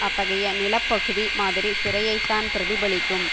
அத்தகைய நிலப்பகுதி மாதிரி சிறையைத்தான் பிரதிபலிக்கும்